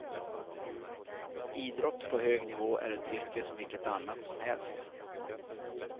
Idrott på hög nivå är ett yrke som vilket annat som helst.